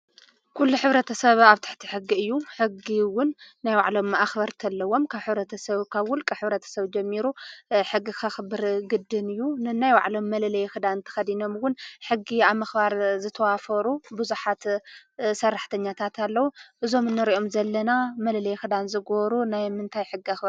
ኩሉ ሕብረተሰብ አብ ትሕቲ ሕጊ እዩ፡፡ ሕጊ እውን ናይ ባዕሎም አክበርቲ አለዎም፡፡ ካብ ሕብረተሰብ ካብ ውልቀ ሕብረተሰብ ጀሚሩ ሕጊ ከኽብር ግድን እዩ፡፡ ነናይ ባዕሎም መለለይ ክዳን ተከዲኖም እውን ሕጊ አብ ምክባር ዝተዋፈሩ ቡዙሓት ሰራሕተኛታት አለው፡፡ እዞም እንሪኦም ዘለና መለለይ ክዳን ዝገበሩ ናይ ምንታይ ሕጊ አክበርቲ እዮም?